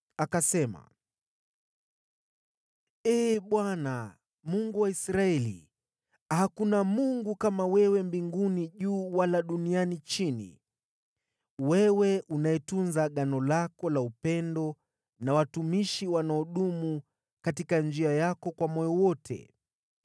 Akasema: “Ee Bwana , Mungu wa Israeli, hakuna Mungu kama wewe juu mbinguni wala chini duniani, wewe unayetunza Agano lako la upendo na watumishi wanaodumu katika njia yako kwa moyo wote.